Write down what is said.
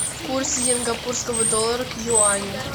курс сингапурского доллара к юаню